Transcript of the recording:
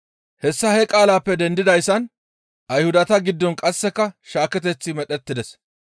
Hessa he qaalaappe dendidayssan Ayhudata giddon qasseka shaaketeththi medhettides.